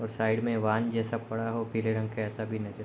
और साइड में वाहन जैसा पड़ा हो पीले रंग का ऐसा भी नजर --